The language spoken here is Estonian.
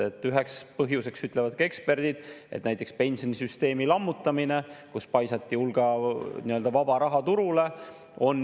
Üheks põhjuseks ütlevad eksperdid, et näiteks pensionisüsteemi lammutamine, kui paisati hulk nii-öelda vaba raha turule.